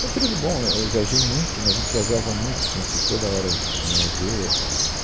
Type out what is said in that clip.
Foi um período bom, é, eu viajei muito, né, a gente viajava muito, tinha que toda hora é, ver.